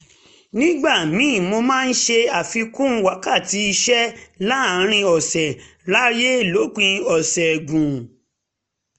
nígbà míì mo máa ṣe àfikún wákàtí iṣẹ́ láàárín ọ̀sẹ̀ ráyè lo òpin ọ̀sẹ̀ gùn